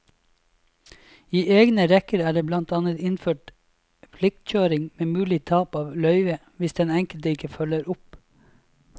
I egne rekker er det blant annet innført pliktkjøring med mulig tap av løyve hvis den enkelte ikke følger opp.